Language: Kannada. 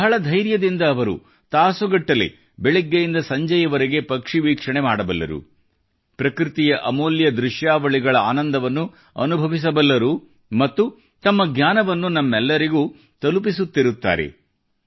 ಬಹಳ ಧೈರ್ಯದಿಂದ ಅವರು ತಾಸುಗಟ್ಟಲೆ ಬೆಳಿಗ್ಗೆಯಿಂದ ಸಂಜೆವರೆಗೆ ಪಕ್ಷಿವೀಕ್ಷಣೆ ಮಾಡಬಲ್ಲರು ಪ್ರಕೃತಿಯ ಅಮೂಲ್ಯ ದೃಶ್ಯಾವಳಿಗಳ ಆನಂದವನ್ನು ಅನುಭವಿಸಬಲ್ಲರು ಮತ್ತು ತಮ್ಮ ಜ್ಞಾನವನ್ನು ನಮ್ಮೆಲ್ಲರಿಗೂ ತಲುಪಿಸುತ್ತಿರುತ್ತಾರೆ